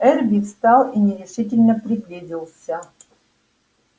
эрби встал и нерешительно приблизился